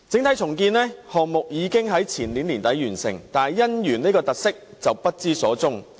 該項目已於前年年底完成，但"姻園"卻不知所終。